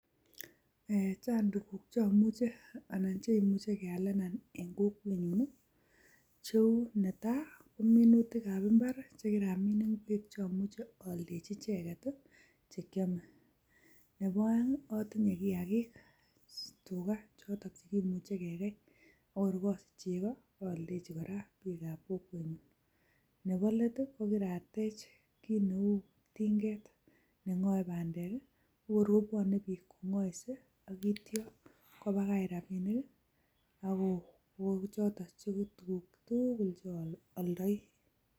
Chang tuguk cheomuche anan chekimuche kealenan en kokwenyun, cheu netai: ko minutikab mbar che kiramin ingwek cheomuche oldechi icheget che kyome, nebo oeng otinye kiyakik; tuga choto chekimuche kegei ak kor osich chego ooldechi kora bikab kokwenyun. Nebo let ii ko kiratech kit neu tinget ne ng'oe bandek kokor kobwone biik kong'oise ak yeityo kobakach rabinik. Ago choto tuguk tugul che ooldoi.